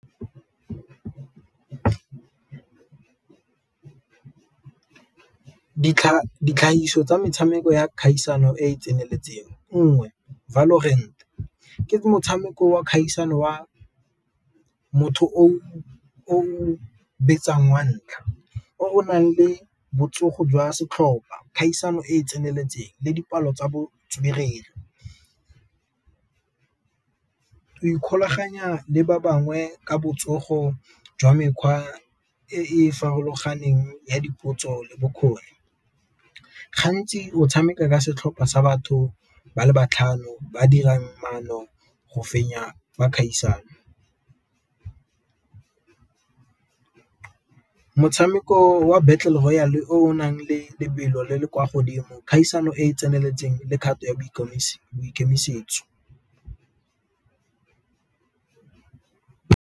Ditlgagiso tsa metshameko ya kgaisano e e tseneletseng, nngwe ke motshameko wa kgaisano wa motho o betsang wa ntlha o nang le botsogo jwa setlhopa kgaisano e e tseneletseng le dipalo tsa botswerere. Go ikgolaganya le ba bangwe ka botsogo jwa mekgwa e e farologaneng ya dipotso bokgoni, gantsi o tshameka ka setlhopha sa batho ba le matlhano ba dirang mono go fenya ba kgaisano. Motshameko wa battle royal o nang le lebelo le le kwa godimo kgaisano e e tseneletseng le kgato ya boikemisetso.